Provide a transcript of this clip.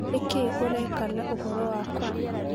Nĩ kĩĩ ũreka na ũhoro wakwa?